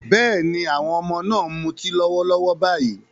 Bẹ́ẹ̀ni, àwọn ọmọ náà ń mu ọtí lọ́wọ́lọ́wọ́ báyìí